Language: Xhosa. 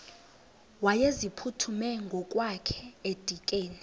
wayeziphuthume ngokwakhe edikeni